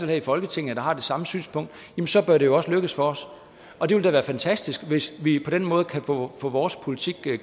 her i folketinget der har det samme synspunkt så bør det jo også lykkes for os og det vil da være fantastisk hvis vi på den måde kan få få vores politik